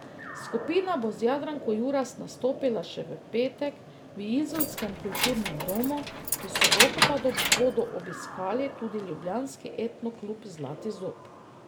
Skupina bo z Jadranko Juras nastopila še v petek v izolskem Kulturnem domu, v soboto pa bodo obiskali tudi ljubljanski etno klub Zlati zob.